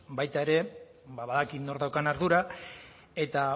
baita ere badakit nork daukan ardura eta